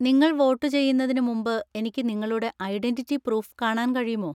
നിങ്ങൾ വോട്ടുചെയ്യുന്നതിന് മുമ്പ് എനിക്ക് നിങ്ങളുടെ ഐഡന്‍റിറ്റി പ്രൂഫ് കാണാൻ കഴിയുമോ?